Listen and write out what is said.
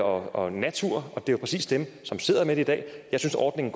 og natur og det er jo præcis dem som sidder med det i dag jeg synes ordningen